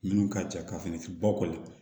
Minnu ka ca ka fini ba kɔli